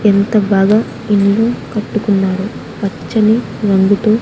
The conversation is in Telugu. ఎంత బాగా ఇల్లు కట్టుకున్నారు పచ్చని రంగుతో.